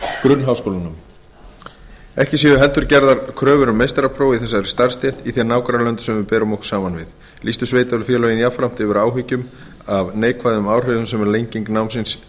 grunnháskólanámi ekki séu heldur gerðar kröfur um meistarapróf í þessari starfsstétt í þeim nágrannalöndum sem við berum okkur saman við lýstu sveitarfélögin jafnframt yfir áhyggjum af neikvæðum áhrifum sem lenging námsins